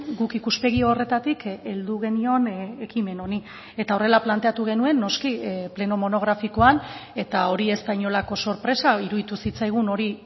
guk ikuspegi horretatik heldu genion ekimen honi eta horrela planteatu genuen noski pleno monografikoan eta hori ez da inolako sorpresa iruditu zitzaigun hori